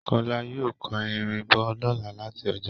Kọ́lá yóò kó irin bọ̀ lọ́la láti ọjà